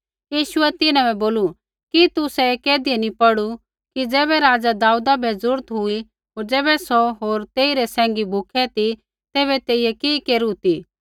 यीशुऐ तिन्हां बै बोलू कि तुसै ऐ कैधियै नी पौढ़ू कि ज़ैबै राजा दाऊदा बै जरूरत हुई होर ज़ैबै सौ होर तेइरै सैंघी भूखै ती तैबै तेइयै कि केरू ती